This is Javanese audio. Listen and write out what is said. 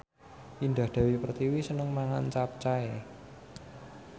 Indah Dewi Pertiwi seneng mangan capcay